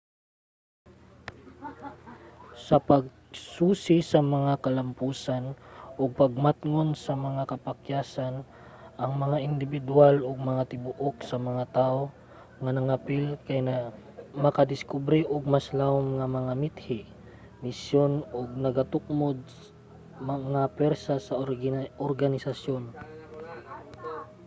sa pagsusi sa mga kalamposan ug pagmatngon sa mga kapakyasan ang mga indibidwal ug ang tibuok sa mga tawo nga nangapil kay makadiskubre og mas lawom nga mga mithi misyon ug nagatukmod nga puwersa sa organisasyon